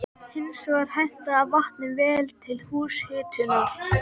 Hins vegar hentaði vatnið vel til húshitunar.